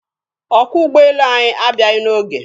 Ọkwọ ụgbọelu anyị abịaghị n'oge.